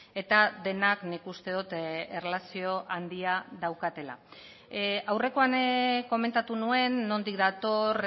eta denak nik uste dut erlazio handia daukatela aurrekoan komentatu nuen nondik dator